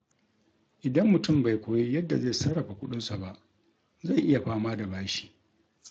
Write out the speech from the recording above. Idan mutum bai koyi yadda zai sarrafa kuɗinsa ba, zai iya fama da bashi.